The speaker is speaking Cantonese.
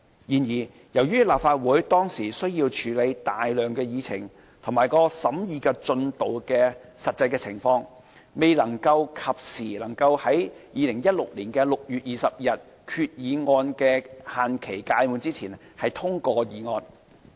然而，由於立法會當時需要處理大量議程及其審議進度的實際情況，未能及時在2016年6月20日，即決議案的限期屆滿前通過議案。